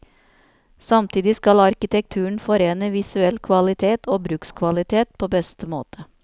Samtidig skal arkitekturen forene visuell kvalitet og brukskvalitet på beste måte.